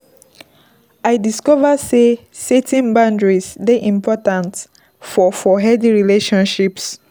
I discover sey setting boundaries dey important for for healthy relationships.